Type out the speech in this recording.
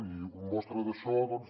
i mostra d’això doncs